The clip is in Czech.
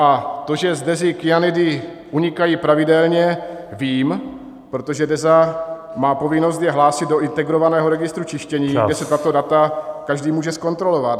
A to, že z Dezy kyanidy unikají pravidelně, vím, protože Deza má povinnost je hlásit do integrovaného registru čištění, kde si tato data každý může zkontrolovat.